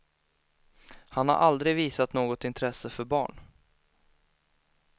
Han har aldrig visat något intresse för barn.